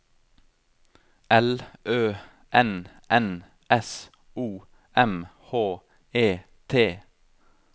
L Ø N N S O M H E T